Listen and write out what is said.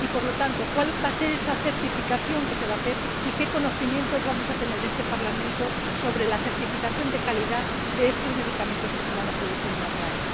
Por lo tanto, ¿cuál va a ser esa certificación a la que se va a proceder, y qué conocimientos vamos a tener en este Parlamento sobre la certificación de calidad de estos medicamentos que se van a producir en Israel?